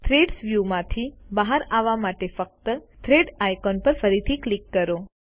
thread view માંથી બહાર આવા માટે ફક્ત થ્રેડ આઇકોન પર ફરીથી ક્લિક કરો